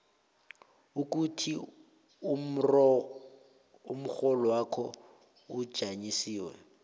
ukuthi umrholwakho ujanyiswe